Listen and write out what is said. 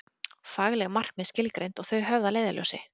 Fagleg markmið skilgreind og þau höfð að leiðarljósi.